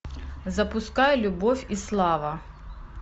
запускай любовь и слава